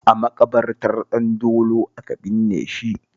A maƙabartar Ɗandolo aka binne shi